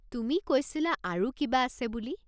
তুমি কৈছিলা আৰু কিবা আছে বুলি?